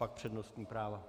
Pak přednostní práva.